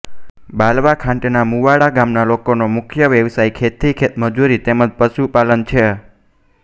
બાલવાખાંટના મુવાડા ગામના લોકોનો મુખ્ય વ્યવસાય ખેતી ખેતમજૂરી તેમ જ પશુપાલન છે